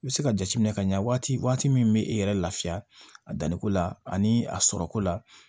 I bɛ se ka jateminɛ ka ɲa waati min bɛ e yɛrɛ lafiya a danniko la ani a sɔrɔko la